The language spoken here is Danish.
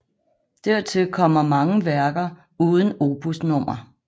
Dertil kommer mange værker uden opusnummer